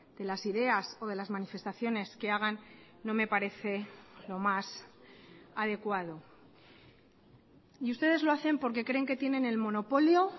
de las ideas o de las manifestaciones que hagan no me parece lo más adecuado y ustedes lo hacen porque creen que tienen el monopolio